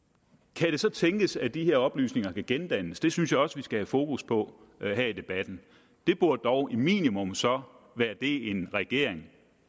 kan det så tænkes at disse oplysninger kan gendannes det synes jeg også vi skal have fokus på her i debatten det burde dog minimum som en regering